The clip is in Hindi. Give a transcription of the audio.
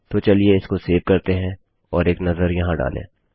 तो चलिए इसको सेव करते है और एक नज़र यहाँ डालें